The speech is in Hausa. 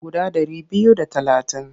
Guda ɗari biyu da talatin.